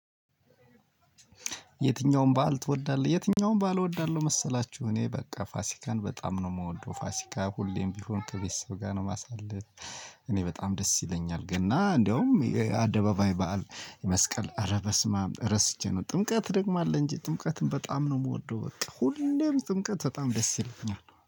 የትኛውን በዓል ትወዳለህ? የትኛውን በዓል እወዳለሁ መሰላችሁ እኔ በቃ ፋሲካን በጣም ነው የምወደው ፋሲካ ሁሌም ቢሆን ከቤተሰብ ጋር ነው ማሳልፍ። እኔ በጣም ደስ ይለኛል። ገና እንደውም አደባባይ በዓል የመስቀል አረ በስማም ረስቼ ነው። ጥምቀት ደግሞ አለ እንጂ ጥምቀትን በጣም ነው የምወደው። በቃ ሁሌም ጥምቀት በጣም ደስ ይለኛል